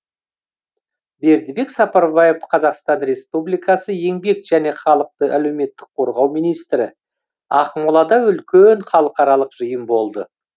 бердібек сапарбаев қазақстан республикасы еңбек және халықты әлеуметтік қорғау министрі ақмолада үлкен халықаралық жиын болды